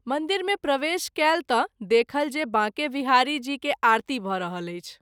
मंदिर मे प्रवेश कएल त’ देखल जे बाँके विहारी जी के आरती भ’ रहल अछि।